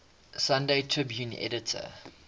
sunday tribune editor